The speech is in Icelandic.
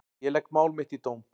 Ég legg mál mitt í dóm.